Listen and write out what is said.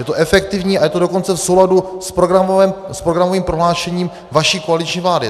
Je to efektivní a je to dokonce v souladu s programovým prohlášením vaší koaliční vlády.